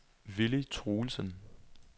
Villy Truelsen